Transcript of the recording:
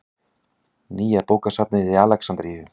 Nýja bókasafnið í Alexandríu.